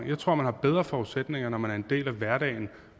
jeg tror man har bedre forudsætninger når man er en del af hverdagen